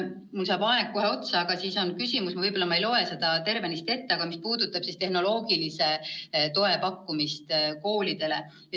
Mul saab aeg kohe otsa ja ma võib-olla ei loe järgmist küsimust tervenisti ette, aga see puudutab tehnoloogilise toe pakkumist koolidele.